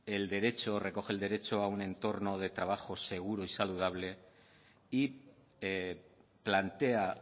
recoge el derecho a un entorno de trabajo seguro y saludable y plantea